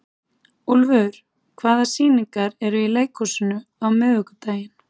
Úlfur, hvaða sýningar eru í leikhúsinu á miðvikudaginn?